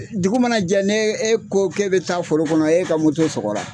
E dugu mana jɛ n'e ko k'e be taa foro kɔnɔ e ka moto sɔgɔla